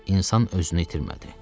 İnsan özünü itirmədi.